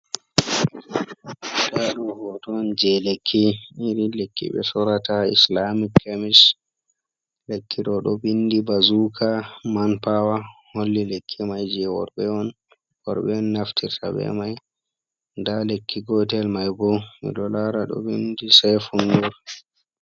Nda ɗo hoto on je lekki iri lekki be sorata islamic kami, lekki ɗo ɗo vindi bazuka man pawa holli lekki mai je worɓe on worɓe on naftirta be mai, nda lekki gotel mai bo mi ɗo lara ɗo vindi saifu nur.